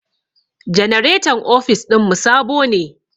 Janaretan ofis ɗin mu sabo ne.